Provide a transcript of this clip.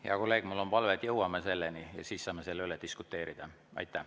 Hea kolleeg, mul on palve, et jõuame selleni ja siis saame selle üle diskuteerida.